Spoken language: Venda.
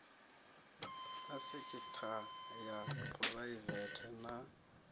na sekitha ya phuraivete na